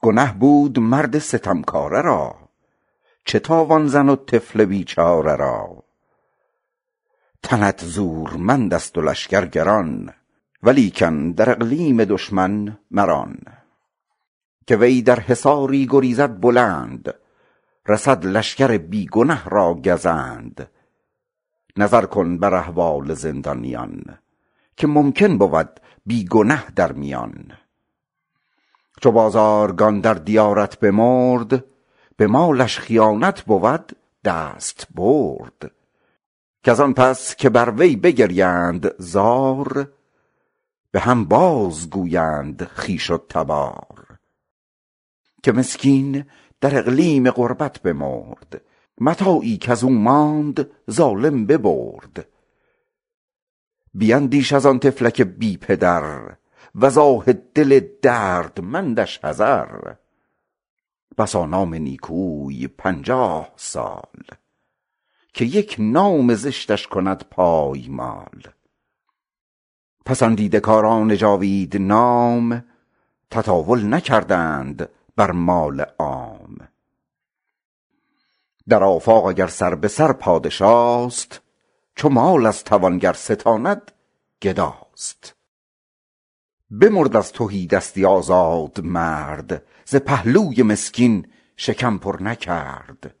گنه بود مرد ستمکاره را چه تاوان زن و طفل بیچاره را تنت زورمند است و لشکر گران ولیکن در اقلیم دشمن مران که وی بر حصاری گریزد بلند رسد کشوری بی گنه را گزند نظر کن در احوال زندانیان که ممکن بود بی گنه در میان چو بازارگان در دیارت بمرد به مالش خساست بود دستبرد کز آن پس که بر وی بگریند زار به هم باز گویند خویش و تبار که مسکین در اقلیم غربت بمرد متاعی کز او ماند ظالم ببرد بیندیش از آن طفلک بی پدر وز آه دل دردمندش حذر بسا نام نیکوی پنجاه سال که یک نام زشتش کند پایمال پسندیده کاران جاوید نام تطاول نکردند بر مال عام بر آفاق اگر سر به سر پادشاست چو مال از توانگر ستاند گداست بمرد از تهیدستی آزاد مرد ز پهلوی مسکین شکم پر نکرد